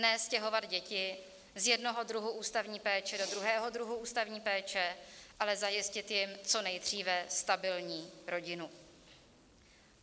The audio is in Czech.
Ne stěhovat děti z jednoho druhu ústavní péče do druhého druhu ústavní péče, ale zajistit jim co nejdříve stabilní rodinu.